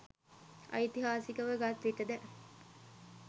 ඓතිහාසිකව ගත් විටද